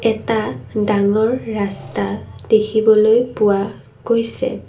এটা ডাঙৰ ৰাস্তা দেখিবলৈ পোৱা গৈছে।